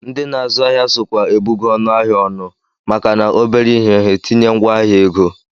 Ndị na-azụ ahịa sokwa ebugo ọnụahịa ọnụ maka na obere ihe ha etinye ngwaahịa ego